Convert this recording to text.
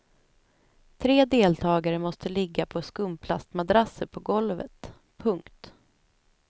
Tre deltagare måste ligga på skumplastmadrasser på golvet. punkt